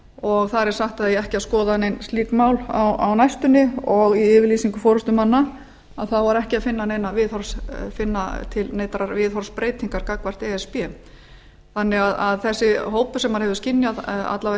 og þar er sagt að eigi ekki að skoða nein slík mál á næstunni og í yfirlýsingu forustumanna var ekki að finna neinar viðhorfsbreytingar gagnvart e s b þannig að þessi hópur sem maður hefur skynjað það